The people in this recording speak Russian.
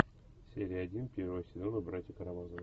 серия один первого сезона братья карамазовы